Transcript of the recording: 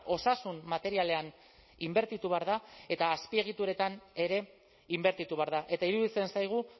osasun materialean inbertitu behar da eta azpiegituretan ere inbertitu behar da eta iruditzen zaigu